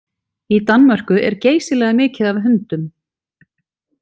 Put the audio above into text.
Í Danmörku er geysilega mikið af hundum.